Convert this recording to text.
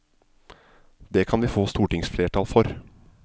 Det kan vi få stortingsflertall for.